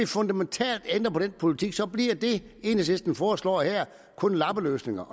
fundamentalt ændrer på den politik så bliver det enhedslisten foreslår her kun lappeløsninger